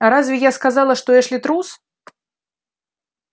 а разве я сказала что эшли трус